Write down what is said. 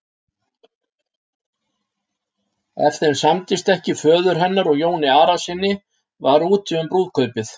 Ef þeim samdist ekki föður hennar og Jóni Arasyni var úti um brúðkaupið.